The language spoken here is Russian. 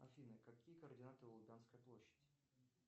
афина какие координаты у лубянской площади